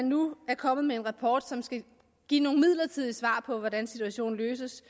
nu kommet med en rapport som skal give nogle midlertidige svar på hvordan situationen løses